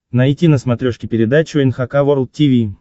найти на смотрешке передачу эн эйч кей волд ти ви